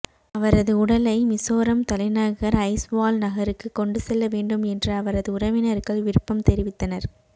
அவரது உடலை மிசோரம் தலைநகர் ஐய்ஸ்வால் நகருக்கு கொண்டு செல்ல வேண்டும் என்று அவரது உறவினர்கள் விருப்பம் தெரிவித்தனர்